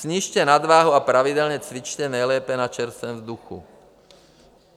Snižte nadváhu a pravidelně cvičte, nejlépe na čerstvém vzduchu.